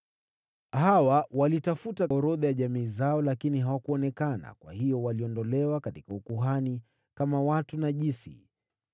Hawa walitafuta orodha za jamaa zao, lakini hawakuonekana humo, kwa hiyo waliondolewa kutoka kundi la makuhani, kwa kuwa walihesabiwa kuwa najisi.